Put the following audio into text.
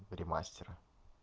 или мастера